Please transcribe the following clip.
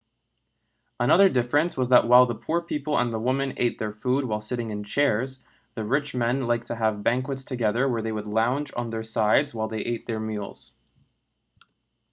another difference was that while the poor people and the woman ate their food while sitting in chairs the rich men liked to have banquets together where they would lounge on their sides while they ate their meals